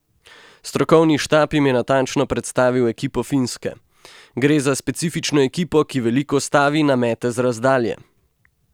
Strokovni štab jim je natančno predstavil ekipo Finske: "Gre za specifično ekipo, ki veliko stavi na mete z razdalje.